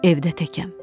Evdə təkəm.